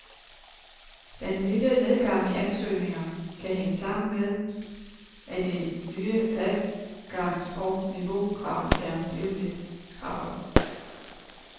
Den lille nedgang i ansøgninger kan hænge sammen med, at de nye adgangs og niveaukrav er blevet lidt skrappere.